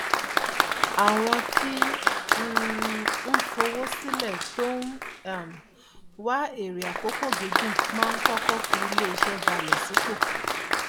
àwọn tí um ń fowó sílẹ tó ń um wá èrè àkókò gígùn máa ń kọkọ fi iléiṣẹ bálẹ sí ipò